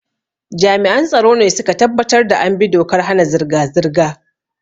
Jami'an tsaro ne su ka tabbatar da an bi dokar hana zirga-zirga.